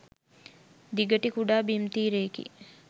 දිගටි කුඩා බිම් තීරයකි.